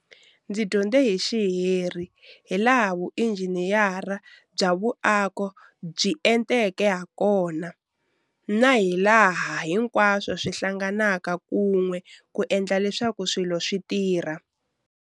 Ndzi dyondze hi xiheri hilaha vuinjhiniyere bya vuaki byi enteke hakona na hilaha hinkwaswo swi hlanganaka kun'we ku endla leswaku swilo swi tirha.